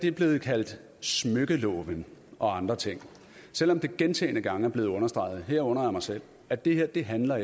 er blevet kaldt smykkeloven og andre ting selv om det gentagne gange er blevet understreget herunder af mig selv at det her ikke handler